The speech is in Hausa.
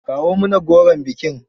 Kawo mana goron bikin.